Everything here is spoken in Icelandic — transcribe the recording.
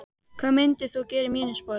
hvað myndir þú gera í mínum sporum?